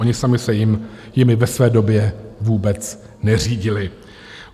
Oni sami se jimi ve své době vůbec neřídili.